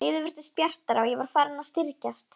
Lífið virtist bjartara og ég var farin að styrkjast.